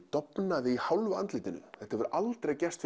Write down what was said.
dofnaði í hálfu andlitinu þetta hefur aldrei gerst